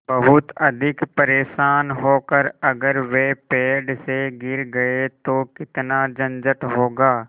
बहुत अधिक परेशान होकर अगर वे पेड़ से गिर गए तो कितना झंझट होगा